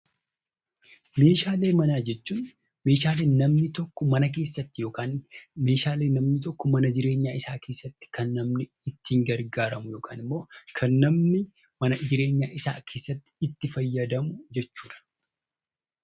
Meeshaalee manaa jechuun Meeshaalee namni tokko mana keessa yookiin Meeshaalee namni tokko mana jireenyaa isaa keessatti kan namni ittiin gargaaramu yookaan immoo kan namni mana jireenyaa isaa keessatti itti fayyadamu jechuudha.